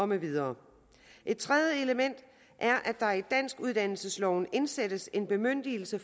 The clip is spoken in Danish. med videre et tredje element er at der i danskuddannelsesloven indsættes en bemyndigelse